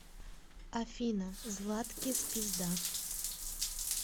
афина златкис пизда